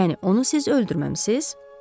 Yəni onu siz öldürməmisiz?